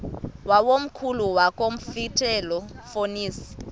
wakomkhulu wakulomfetlho fonis